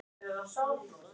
Við feisum hvor ann